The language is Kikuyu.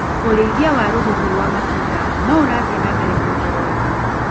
ũrĩithia wa rũhuhu rwa matunda noũrathi na mbere kuongereka.